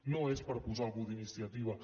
no és per posar algú d’iniciativa